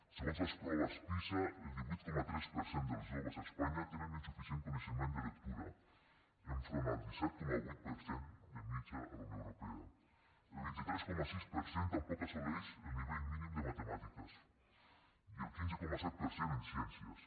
segons les proves pisa el divuit coma tres per cent dels joves a espanya tenen insuficient coneixement de lectura enfront del disset coma vuit per cent de mitjana a la unió europea el vint tres coma sis per cent tampoc assoleix el nivell mínim de matemàtiques i el quinze coma set per cent en ciències